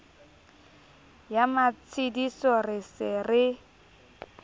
ya matshediso re se re